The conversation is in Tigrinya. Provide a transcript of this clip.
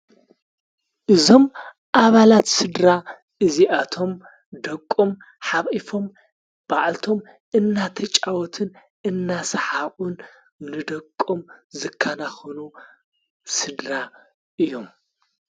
እዞም ኣባላት ሥድራ እዚኣቶም ደቆም ሓቂፎም ባዕልቶም እናተጫወትን እናሰሓኡቁን ንደቆም ዘካናኾኑ ሥድራ እዮም፡፡